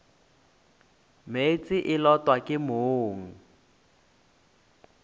meetse e lotwa ke mong